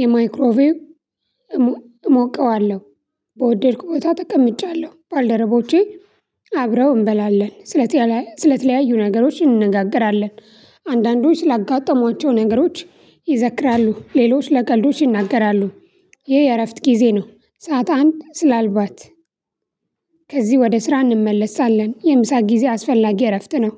የማይክሮቪው እሞቀዋለሁ። በወደድኩ ቦታ ተቀምጫለሁ ባልደረቦቼ አብረው እንበላለን ሰለተአለ ስለተለያዩ ነገሮች እንነጋገራለን። አንዳንዶች ስላጋጠሟቸው ነገሮች ይዘክራሉ ሌሎች ለቀልዶች ይናገራሉ። ይሄ የእረፍት ጊዜ ነው። ሰዓት አንድ ስላልባት ከዚህ ወደ ስራ እንመለሳለን። የምሳ ጊዜ አስፈላጊ እረፍት ነው